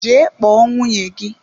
Jee kpọọ nwunye gị!